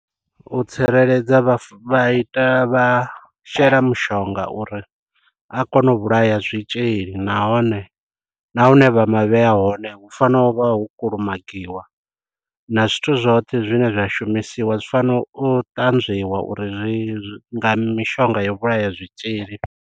U tsireledza vha ita vha shela mushonga uri a kone u vhulaya zwitzhili nahone nahune vha ma vheya hone hu fanela u vha ho kulumagiwa. Na zwithu zwoṱhe zwine zwa shumisiwa zwi fanela u ṱanzwiwa uri zwi nga mishonga yo vhulaya zwitzhili.